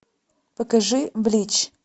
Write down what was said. покажи блич